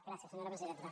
gràcies senyora presidenta